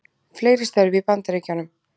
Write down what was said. Fleiri störf í Bandaríkjunum